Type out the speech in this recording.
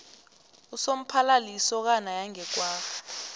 usomphalali yikosana yange kwagga